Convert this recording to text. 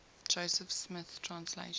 joseph smith translation